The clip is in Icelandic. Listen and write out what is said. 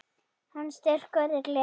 Hans styrkur er gleðin.